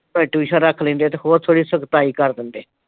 ਕਦੇ tuition ਰੱਖ ਲੈਂਦੇ ਆ ਤੇ ਹੋਰ ਸਗੋਂ ਸਖ਼ਤਾਈ ਕਰ ਦਿੰਦੇ।